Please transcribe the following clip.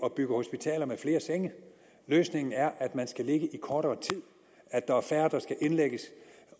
at bygge hospitaler med flere senge løsningen er at man skal ligge i kortere tid at der er færre der skal indlægges